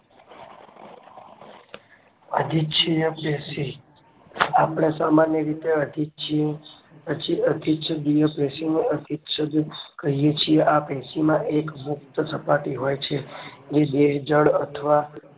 અધિચ્છયપેશી આપણે સામાન્ય રીતે અધિચ્છય અધિચ્છદીય પેશીનો અધિચ્છય કહીયે છીએ આ પેશીમાં એક મુક્ત સપાટી હોય છે એ બે જળ અથવા